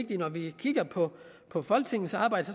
det når vi kigger på på folketingets arbejde